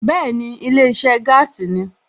Bẹ́ẹ̀ni ilé iṣẹ́ gaasi ni